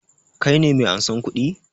Ka ne mai ansan kuɗi?